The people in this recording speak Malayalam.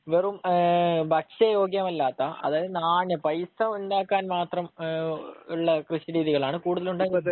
വെറും ഭക്ഷ്യയോഗ്യമല്ലാത്ത അതായത് നാണ്യം പൈസ ഉണ്ടാക്കാൻവേണ്ട രീതിയിലുള്ള കൃഷിരീതികളാണ് കൂടുതലും ഉണ്ടാ...